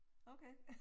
Okay